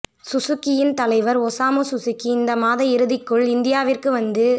சுசுகியின் தலைவர் Osamu Suzuki இந்த மாத இறுதிக்குள் இந்தியாவிற்கு வந்து